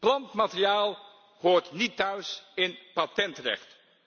Plantmateriaal hoort niet thuis in patentrecht